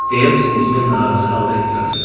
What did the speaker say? deyə biznesmen narazı halda etiraz elədi.